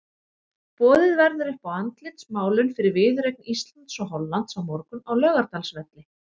Boðið verður upp á andlitsmálun fyrir viðureign Íslands og Hollands á morgun á Laugardalsvelli.